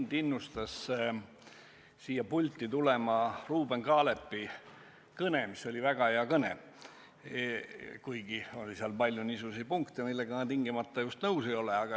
Mind innustas siia pulti tulema Ruuben Kaalepi kõne, mis oli väga hea kõne, kuigi seal oli palju niisuguseid punkte, millega ma tingimata just nõus ei ole.